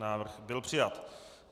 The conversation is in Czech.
Návrh byl přijat.